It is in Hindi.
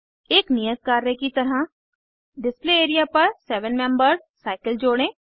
एक नियत कार्य की तरह डिस्प्ले एरिया पर सेवन मेम्बर्ड साइकिल जोड़ें